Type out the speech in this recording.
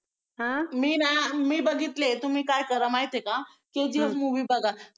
मी ना मी बघितली आहे तुम्ही काय करा माहिती आहे का KGF movie बघा.